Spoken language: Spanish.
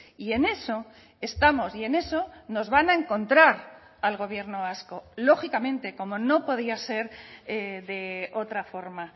y en eso estamos y en eso nos van a encontrar al gobierno vasco lógicamente como no podía ser de otra forma